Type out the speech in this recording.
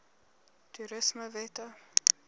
toerismewette